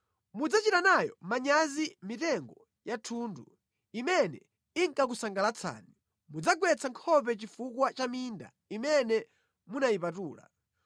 “Mudzachita nayo manyazi mitengo ya thundu imene inkakusangalatsani; mudzagwetsa nkhope chifukwa cha minda imene munayipatula.